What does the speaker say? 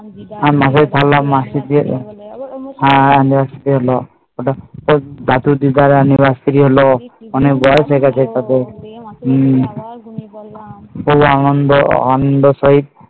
আমি দিদা আমি মাসি বাড়ি থেকে এসে আবার ঘুমিয়ে পড়লাম